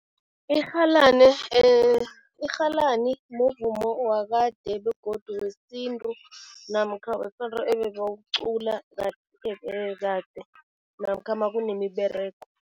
irhalani muvumo wakade begodu wesintu namkha wesonto ebebawucula kade namkha makunemiberego.